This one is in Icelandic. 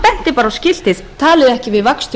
talið ekki við vagnstjóra í